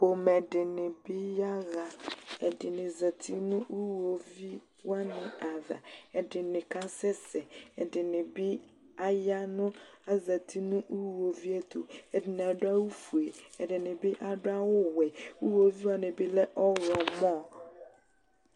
Pomɛ dɩ bɩ yaɣa. Ɛdɩnɩ zati nʋ iɣoviu wanɩ ava, ɛdɩnɩ asɛsɛ, ɛdɩnɩ bɩ aya nʋ azati nʋ iɣoviu ɛtʋ. Ɛdɩnɩ adʋ awʋfue, ɛdɩnɩ bɩ adʋ awʋwɛ. Iɣoviu wanɩ bɩ lɛ ɔɣlɔmɔ.